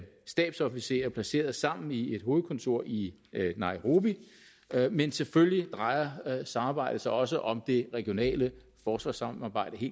stabsofficerer placeret sammen i et hovedkontor i nairobi men selvfølgelig drejer samarbejdet sig også om det regionale forsvarssamarbejde